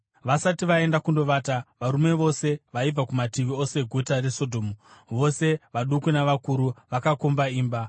Vasati vaenda kundovata, varume vose vaibva kumativi ose eguta reSodhomu, vose vaduku navakuru, vakakomba imba.